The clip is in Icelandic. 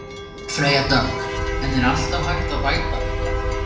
Freyja Dögg: En er alltaf hægt að bæta eitthvað?